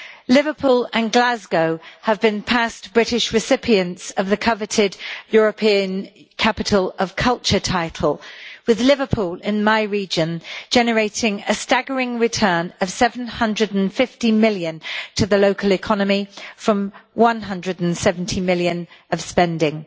Liverpool and Glasgow have been past British recipients of the coveted European Capital of Culture title with Liverpool, in my region, generating a staggering return of GBP 750 million to the local economy from GBP 170 million of spending.